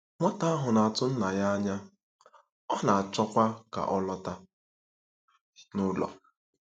Nwata ahụ na-atụ nna ya anya, ọ na-achọkwa ka ọ lọta n'ụlọ.